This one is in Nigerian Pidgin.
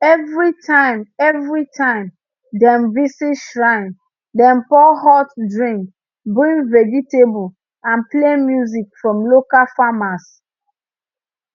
every time every time dem visit shrine dem pour hot drink bring vegetable and play music from local farmers